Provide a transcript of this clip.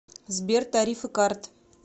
сбер тарифы карт